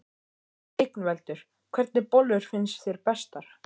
Ingveldur: Hvernig bollur finnst þér bestar?